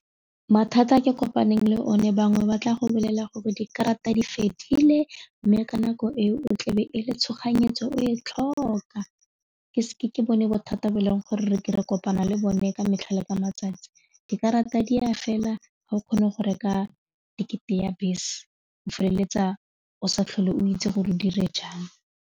Mathata a ke kopaneng le one bangwe ba tla go bolella gore dikarata di fedile mme ka nako eo tlebe e le tshoganyetso o e tlhoka ke bone bothata bo e leng gore re kopana le bone ka metlha le ka matsatsi, dikarata di ya fela ga o kgone go reka ticket-e ya bese o feleletsa o sa tlhole o itse gore o dire jang.